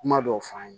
Kuma dɔw f'an ye